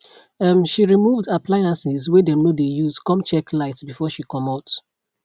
um she removed appliances wey dem no de use come check lights before she comot